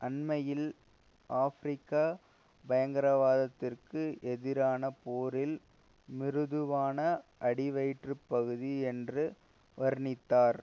அண்மையில் ஆப்பிரிக்கா பயங்கரவாதத்திற்கு எதிரான போரில் மிருதுவான அடிவயிற்றுப்பகுதி என்று வர்ணித்தார்